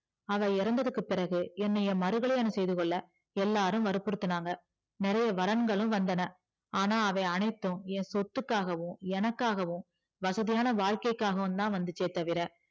அவள் இறந்ததற்கு பிறகு என்னை மருகல்லியாணம் செய்துகொள்ள எல்லாரும் வருபுருத்துனாங்க நிறைய வரங்களும் வந்தன ஆனா அவை அனைத்தும் சொத்துகாகவும் எனக்காகும் வசதியான வாழ்க்கைக்குகாக தான் வந்துதே தவிர